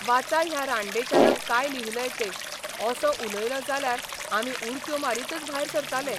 वाचा ह्या रांडेच्यानं काय लिहिलंय ते असो उलयलो जाल्यार आमी उडक्यो मारीतच भायर सरताले.